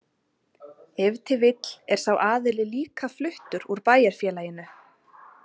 Ef til vill er sá aðili líka fluttur úr bæjarfélaginu.